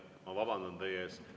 Ma vabandan teie ees.